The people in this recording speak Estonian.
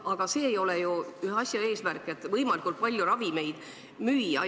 Aga see ei saa ju olla eesmärk, et võimalikult palju ravimeid müüa!